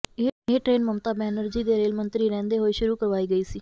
ਇਹ ਟਰੇਨ ਮਮਤਾ ਬੈਨਰਜੀ ਦੇ ਰੇਲ ਮੰਤਰੀ ਰਹਿੰਦੇ ਹੋਏ ਸ਼ੁਰੂ ਕਰਵਾਈ ਗਈ ਸੀ